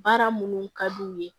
Baara minnu ka d'u ye